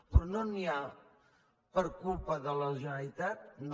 però no n’hi ha per culpa de la generalitat no